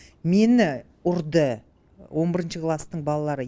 мені ұрды он бірінші класстың балалары